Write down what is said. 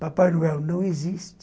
Papai Noel não existe.